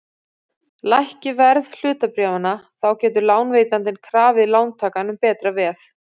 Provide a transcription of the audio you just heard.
Lækki verð hlutabréfanna þá getur lánveitandinn krafið lántakann um betra veð.